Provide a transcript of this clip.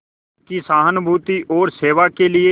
की सहानुभूति और सेवा के लिए